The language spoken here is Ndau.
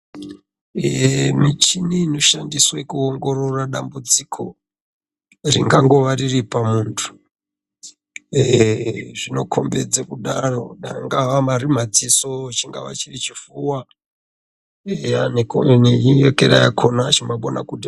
Michini inoshandiswa kuongorora dambudziko ringangova riri pamuntu zvinokombidza kudaro danga Ari madziso chingava chiri chipfuwa neyekera yakona chinokana.